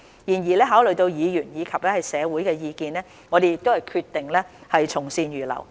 然而，考慮到議員及社會的意見，我們決定從善如流。